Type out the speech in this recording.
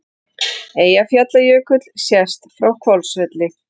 Eyjafjallajökull sést frá Hvolsvelli.